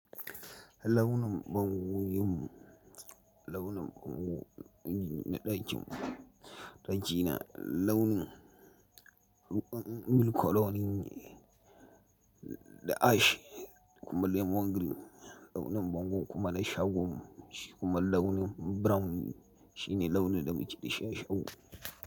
Launin bango in, launin bango na ɗakinmu daki na launin ruwan bilkoloni da ash kuma lemon green launin bango kuma na shagon mu shi kuma launi brown shine launin da muke da shi a shago.